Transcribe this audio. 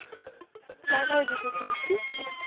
काय नाव आहे तीच तृपती?